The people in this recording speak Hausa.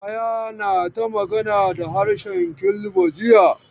Yahaya na ta magana da harshe Kilba jiya.